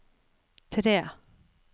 tre